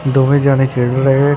ਦੋਵੇਂ ਜਣੇ ਖੇਡ ਲਏ --